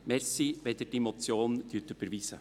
Danke, wenn Sie diese Motion überweisen.